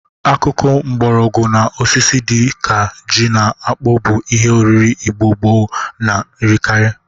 Akụkụ mgbọrọgwọ na osisi dị ka ji na akpụ bụ ihe oriri Igbo gboo na-erikari.